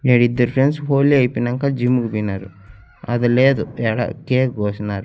ఈడిద్దర్ friends Holi ఐపొయ్నంక gym కి పొయ్నారు అది లేదు యాడ కేక్ కోసిన్నార్.